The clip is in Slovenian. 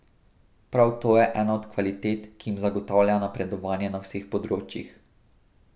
Prav to je ena od kvalitet, ki jim zagotavlja napredovanje na vseh področjih.